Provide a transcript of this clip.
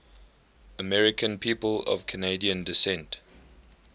american people of canadian descent